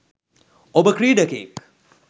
ඔබ ක්‍රීඩකයෙක්